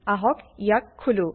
আহক ইয়াক খোলো